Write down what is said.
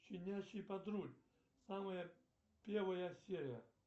щенячий патруль самая первая серия